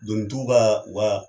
Doni tubaa wa